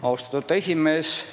Austatud esimees!